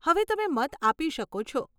હવે તમે મત આપી શકો છો.